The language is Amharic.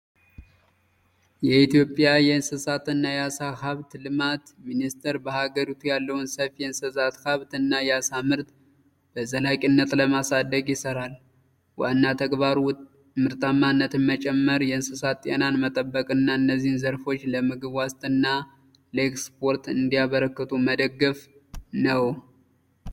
የኢትዮጵያ የእንስሳትና የአሳ ሃብት ልማት ሚኒስቴር በሀገሪቱ ያለውን ሰፊ የእንስሳት ሀብት እና የአሳ ምርትን በዘላቂነት ለማሳደግ ይሠራል። ዋና ተግባሩ ምርታማነትን መጨመር፣ የእንስሳት ጤናን መጠበቅ፣ እና እነዚህ ዘርፎች ለምግብ ዋስትናና ለኤክስፖርት እንዲያበረክቱ መደገፍ ነው።